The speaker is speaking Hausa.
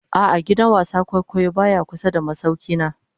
A'a, gidan wasan kwaikwayo baya kusa da masaukina